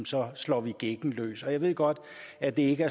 så slår vi gækken løs og jeg ved godt at det ikke